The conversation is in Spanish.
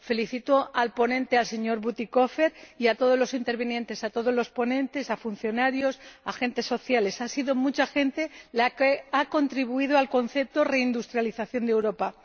Felicito al ponente, señor Bütikofer, y a todos los intervinientes, a todos los ponentes, a los funcionarios, a los agentes sociales ha sido mucha gente la que ha contribuido al concepto reindustrialización de Europa.